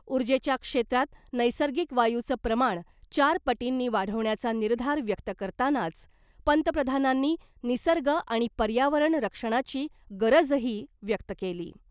ऊर्जेच्या क्षेत्रात नैसर्गिक वायूचं प्रमाण चार पटींनी वाढवण्याचा निर्धार व्यक्त करतानाच पंतप्रधानांनी निसर्ग आणि पर्यावरण रक्षणाची गरजही व्यक्त केली .